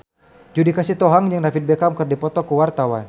Judika Sitohang jeung David Beckham keur dipoto ku wartawan